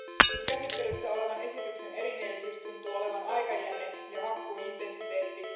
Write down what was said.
Nyt käsittelyssä olevan esityksen erimielisyys tuntuu olevan aikajänne ja hakkuuintensiteetti.